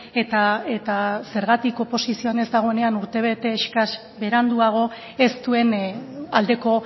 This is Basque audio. eta zergatik oposizioan ez dagoenean urtebete eskas beranduago ez duen aldeko